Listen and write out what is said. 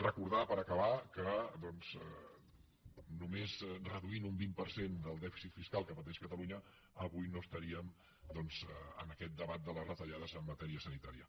recordar per acabar que només reduint un vint per cent del dèficit fiscal que pateix catalunya avui no estaríem doncs en aquest debat de les retallades en matèria sanitària